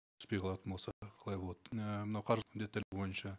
түспей қалатын болса қалай болады і мына қаржы міндеттері бойынша